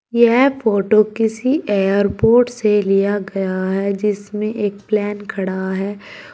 यह फोटो किसी एयरपोर्ट से लिया गया है जिसमें एक प्लेन खड़ा हैं।